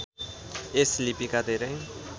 यस लिपिका धेरै